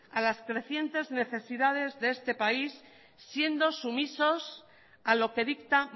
a las crecientes necesidades de este país siendo sumisos a lo que dicta